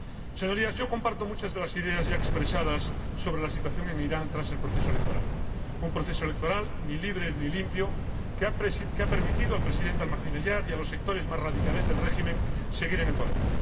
Señorías, yo comparto muchas de las ideas ya expresadas sobre la situación en Irán tras el proceso electoral un proceso electoral ni libre, ni limpio, que ha permitido al Presidente Ahmadinejad y a los sectores más radicales del régimen seguir en el poder